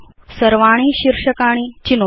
सर्वाणि शीर्षकाणि चिनोतु